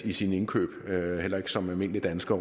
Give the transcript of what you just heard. i sine indkøb heller ikke som almindelig dansker